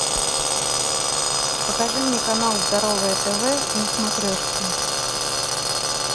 покажи мне канал здоровое тв на смотрешке